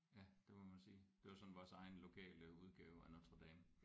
Ja det må man sige det var sådan vores egen lokale udgave af Notre Dame